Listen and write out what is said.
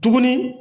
Tuguni